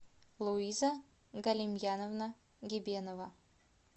луиза галимьяновна гебенова